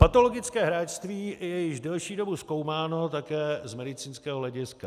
Patologické hráčství je již delší dobu zkoumáno také z medicínského hlediska.